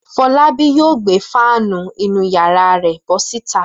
Fọlábí yóò gbé fáánù inú ìyàrá rẹ̀ bọ́ síta.